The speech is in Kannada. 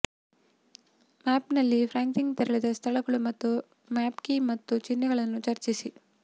ಮ್ಯಾಪ್ನಲ್ಲಿ ಫ್ರಾಂಕ್ಲಿನ್ ತೆರಳಿದ ಸ್ಥಳಗಳು ಮತ್ತು ಮ್ಯಾಪ್ ಕೀ ಮತ್ತು ಚಿಹ್ನೆಗಳನ್ನು ಚರ್ಚಿಸಿ